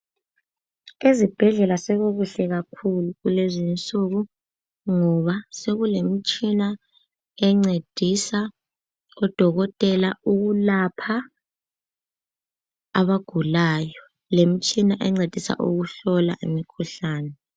ezibhedlela sekukuhle kakhulu kulezinsuku ngoba sokule mitshina encedisa odokotela ukulapha abagulayo, lemtshina encedisa ukuhlola imikhuhlane.